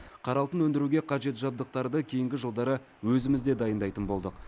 қара алтын өндіруге қажет жабдықтарды кейінгі жылдары өзімізде дайындайтын болдық